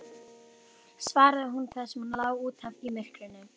svaraði hún þar sem hún lá út af í myrkrinu.